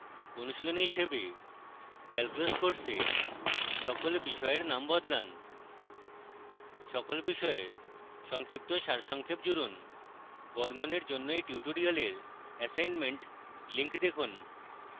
অনুশীলনী হিসাবে